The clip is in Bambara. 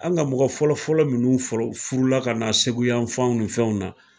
An ka mɔgɔ fɔlɔ fɔlɔ munnu furu la ka na segu yan fɛnw ni fɛnw na.